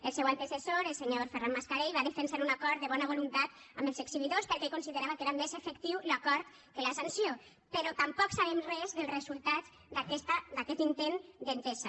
el seu antecessor el senyor ferran mascarell va defensar un acord de bona voluntat amb els exhibidors perquè ell considerava que era més efectiu l’acord que la sanció però tampoc sabem res dels resultats d’aquest intent d’entesa